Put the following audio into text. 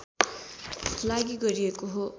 लागि गरिएको हो